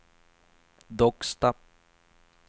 Docksta